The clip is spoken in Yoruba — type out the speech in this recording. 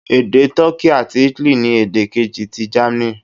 Èdè Toki àti Italy ni èdè kejì ti Germany.